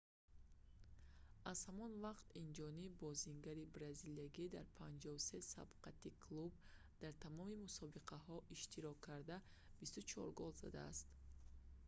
аз ҳамон вақт инҷониб бозингари бразилиягӣ дар 53 сабқати клуб дар тамоми мусобиқаҳо иштирок карда 24 гол задааст